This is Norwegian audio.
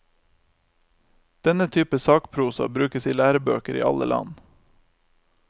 Denne type sakprosa brukes i lærebøker i alle land.